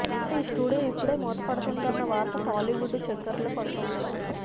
అయితే ఈ స్టూడియో ఇప్పుడు మూతబడుతోందన్న వార్త టాలీవుడ్లో చక్కర్లు కొడుతోంది